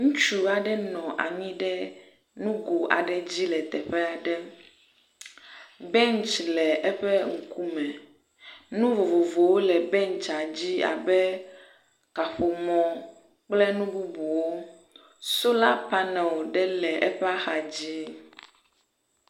Ŋutsu aɖe nɔ anyi ɖe nugo aɖe dzi le teƒe aɖe. bentsi le eƒe ŋkume. Nu vovovowo le bentsia dzi abe kaƒomɔ kple nu bubuwo. Sola panel ɖe le eƒe axa dzi.